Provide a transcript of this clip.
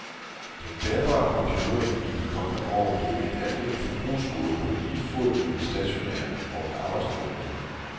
Den bærbare computer vil i de kommende år blive et alment forbrugsgode på lige fod med de stationære, og en arbejdsnødvendighed.